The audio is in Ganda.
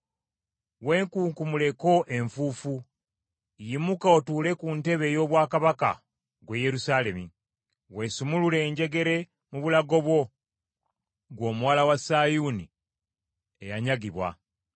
Weekunkumuleko enfuufu, yimuka otuule ku ntebe ey’obwakabaka ggwe Yerusaalemi. Weesumulule enjegere mu bulago bwo, ggwe Omuwala wa Sayuuni eyanyagibwa.